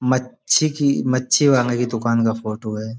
मच्छी की मच्छी वाले की दुकान का फोटो है।